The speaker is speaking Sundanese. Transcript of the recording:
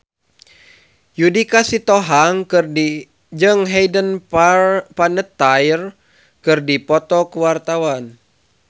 Judika Sitohang jeung Hayden Panettiere keur dipoto ku wartawan